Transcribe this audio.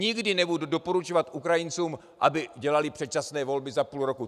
Nikdy nebudu doporučovat Ukrajincům, aby dělali předčasné volby za půl roku.